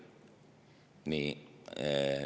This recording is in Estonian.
Nii.